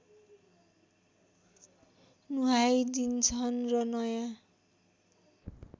नुहाइदिन्छन् र नयाँ